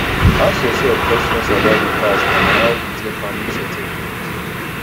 ask yourself questions about di past and how you take handle certain things